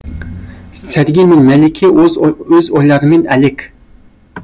сәргел мен мәлике өз ойларымен әлек